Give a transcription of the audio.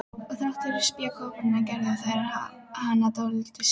Og þrátt fyrir spékoppana gerðu þær hana alltaf dáldið strákslega.